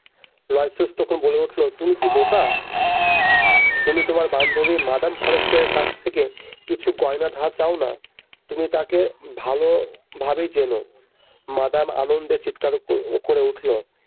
তখন বলে উঠল তুমি কি বোকা তুমি তোমার বান্ধবী মাদাম ফরেস্টের কাছ থেকে কিছু গয়না ধার চাও না তুমি তাকে ভালোভাবেই চেনো মাদাম আনন্দে চিৎকার করে উঠল।